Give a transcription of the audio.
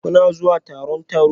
Kuna zuwa taron taro?